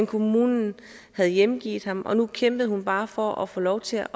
kommunen havde hjemgivet ham og nu kæmpede hun bare for at få lov til